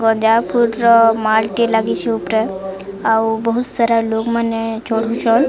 ଗଡା ଫୁଟର ମାଲଟିଏ ଲାଗିଚି ଉପରେ ଆଉ ବହୁତ ସାରା ଲୋକମାନେ ଚଢୁଛନ।